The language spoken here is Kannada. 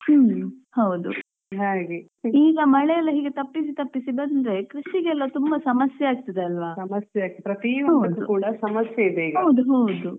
ಈಗ ಮಳೆ ಎಲ್ಲಾ ಹೀಗೆ ತಪ್ಪಿಸಿ ತಪ್ಪಿಸಿ ಬಂದ್ರೆ ಕೃಷಿಗೆಲ್ಲಾ ತುಂಬಾ ಸಮಸ್ಯೆ ಆಗ್ತದಲ್ಲಾ.